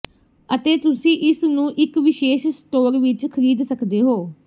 ਅਤੇ ਤੁਸੀਂ ਇਸ ਨੂੰ ਇਕ ਵਿਸ਼ੇਸ਼ ਸਟੋਰ ਵਿਚ ਖਰੀਦ ਸਕਦੇ ਹੋ